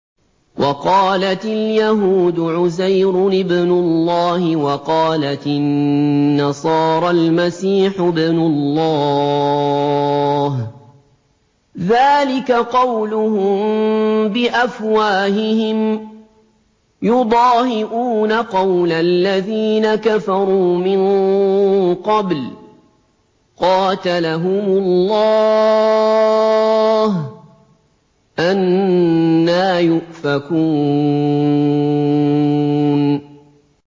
وَقَالَتِ الْيَهُودُ عُزَيْرٌ ابْنُ اللَّهِ وَقَالَتِ النَّصَارَى الْمَسِيحُ ابْنُ اللَّهِ ۖ ذَٰلِكَ قَوْلُهُم بِأَفْوَاهِهِمْ ۖ يُضَاهِئُونَ قَوْلَ الَّذِينَ كَفَرُوا مِن قَبْلُ ۚ قَاتَلَهُمُ اللَّهُ ۚ أَنَّىٰ يُؤْفَكُونَ